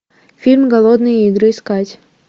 фильм голодные игры искать